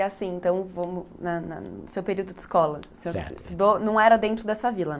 E assim, então, vamos, na na, no seu período de escola, não era dentro dessa vila?